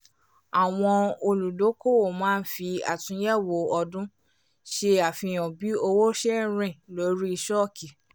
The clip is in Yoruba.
àwọn olùdókòwò máa ń fi àtúnyẹ̀wò ọdún ṣe àfihàn bí owó ṣe ń rìn lórí ṣọ́ọ̀kì